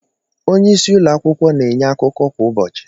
Onye isi ụlọ akwukwo na-enye akụkọ kwa ụbọchị.